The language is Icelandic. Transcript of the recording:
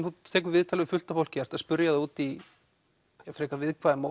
þú tekur viðtal við fullt af fólki ert að spyrja þau út í viðkvæm